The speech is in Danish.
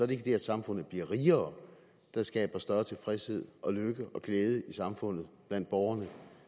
det at samfundet bliver rigere der skaber større tilfredshed og lykke og glæde i samfundet blandt borgerne